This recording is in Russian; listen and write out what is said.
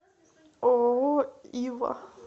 ооо ива